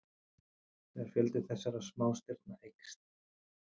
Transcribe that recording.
þegar fjöldi þessara smástirna eykst